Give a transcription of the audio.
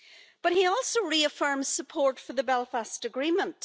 But he also reaffirms support for the Belfast Agreement.